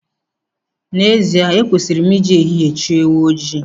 N'ezie ekwesịrị m ị ji ehihie chọọ ewu ojii.